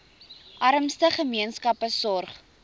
armste gemeenskappe sorg